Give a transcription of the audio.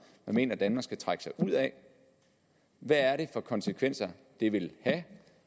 man mener danmark skal trække sig ud af hvad er det for konsekvenser det vil have